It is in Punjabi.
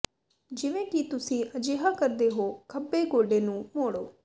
ਜਿਵੇਂ ਕਿ ਤੁਸੀਂ ਅਜਿਹਾ ਕਰਦੇ ਹੋ ਖੱਬੇ ਗੋਡੇ ਨੂੰ ਮੋੜੋ